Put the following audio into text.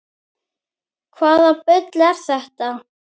Hvaða bull er þetta?